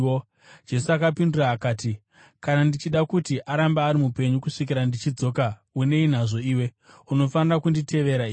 Jesu akapindura akati, “Kana ndichida kuti arambe ari mupenyu kusvikira ndichidzoka, unei nazvo iwe? Unofanira kunditevera iwe.”